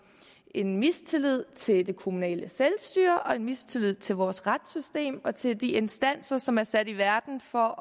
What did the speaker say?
en mistillid til det kommunale selvstyre og en mistillid til vores retssystem og til de instanser som er sat i verden for